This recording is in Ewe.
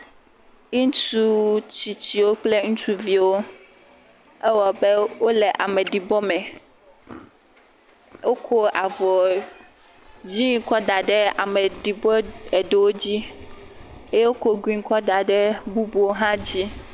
Ŋutsu tsitsiwo kple ŋutsuviwo, ewɔ abe wole ameɖibɔ me, wokɔ avɔ dzɛ̃ kɔ da ɖe ameɖibɔ eɖewo dzi eye wokɔ gri kɔ da ɖe bubuwo hã dzi.